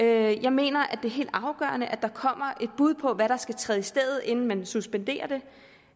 jeg mener at det er helt afgørende at der kommer et bud på hvad der skal træde i stedet inden man suspenderer den